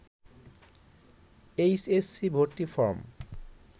H S C ভর্তি form